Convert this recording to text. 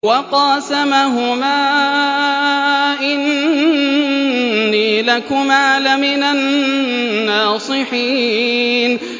وَقَاسَمَهُمَا إِنِّي لَكُمَا لَمِنَ النَّاصِحِينَ